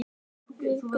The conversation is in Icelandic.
Við Gunni.